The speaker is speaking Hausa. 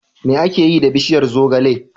Me ake yi da bishiyar zogale?